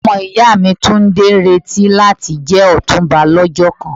Omo iya mi Tunde n nireti lati je Otunba lojo kan.